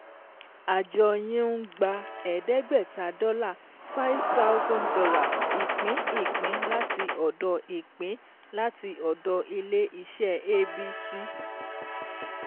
Àjọ yín ń gba ẹ̀ẹ́dẹ́gbẹ̀ta dọ́là($ five thousand ) ìpín ìpín láti ọ̀dọ̀ ìpín láti ọ̀dọ̀ ilé iṣẹ́ ABC.